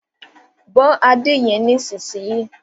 Bó ade yén nísìsiyìí!